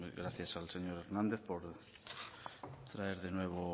gracias al señor hernández por traer de nuevo